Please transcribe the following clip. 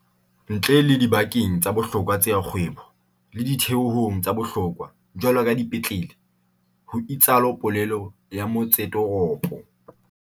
"ntle le dibakeng tsa bohlokwa tsa kgwebo le ditheong tsa bohlokwa, jwaloka dipetlele," ho itsalo polelo ya motsetoropo.